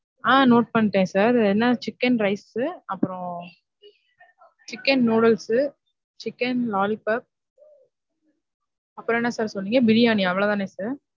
ஆஹ் note பண்ணிட்டேன் sir. என்னா chicken rice, chicken noodles, chicken lollipop அப்பறம் என்ன sir சொன்னீங்க? பிரியானி அவ்ளோதான sir?